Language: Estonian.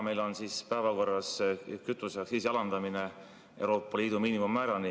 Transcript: Täna on meil päevakorras kütuseaktsiisi alandamine Euroopa Liidu miinimummäärani.